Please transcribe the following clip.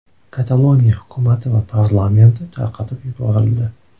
Kataloniya hukumati va parlamenti tarqatib yuborildi.